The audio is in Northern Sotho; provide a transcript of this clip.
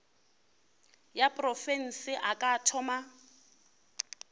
ya profense a ka thoma